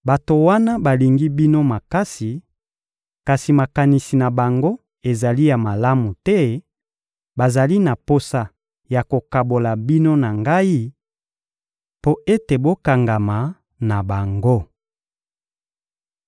Bato wana balingi bino makasi, kasi makanisi na bango ezali ya malamu te; bazali na posa ya kokabola bino na ngai mpo ete bokangama na bango.